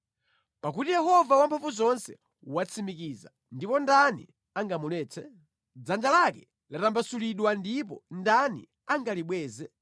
Pakuti Yehova Wamphamvuzonse watsimikiza, ndipo ndani angamuletse? Dzanja lake latambasulidwa ndipo ndani angalibweze?